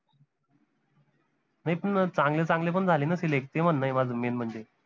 नाई पन चांगले चांगले पन झाले न select ते म्हनय माझं main म्हनजे